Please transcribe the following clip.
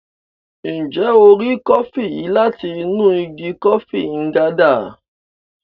Njẹ o rí kọfi yìí láti inú ìgi kọfi Nganda?